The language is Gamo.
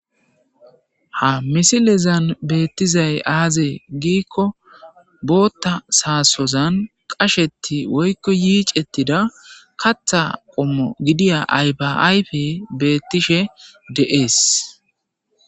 Ha misilezan beettizay aaze giikko bootta saasozan qashetti woykko yiic ettida katha qommo gidiya aybaayfe beettishe de'ees.